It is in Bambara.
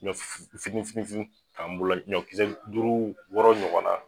Ɲɔ fitini fitini fitini ta n bolo la ɲɔ kisɛ duuru wɔɔrɔ ɲɔgɔnna